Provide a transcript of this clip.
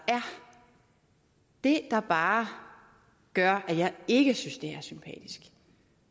det der bare gør at jeg ikke synes